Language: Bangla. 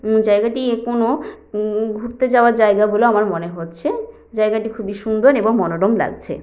ম জায়গাটি কোন উ-উ ঘুরতে যাওয়ার জায়গা বলে আমার মনে হচ্ছে জায়গাটি খুবই সুন্দর এবং মনোরম লাগছে।